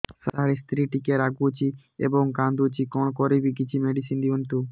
ସାର ସ୍ତ୍ରୀ ଟିକେ ରାଗୁଛି ଏବଂ କାନ୍ଦୁଛି କଣ କରିବି କିଛି ମେଡିସିନ ଦିଅନ୍ତୁ